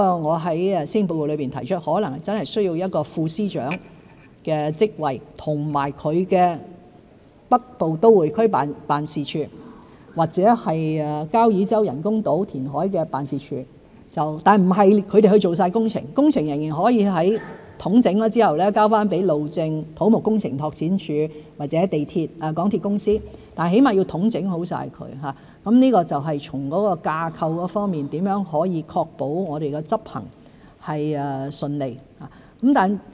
我在施政報告裏提出，可能真的需要一個副司長的職位和北部都會區辦事處，或交椅洲人工島填海的辦事處，但不是由他們負責全部工程，工程仍然可以在統整後，交給路政署、土木工程拓展署或港鐵公司，但起碼要統整好，這就是從架構方面，如何可以確保我們執行順利。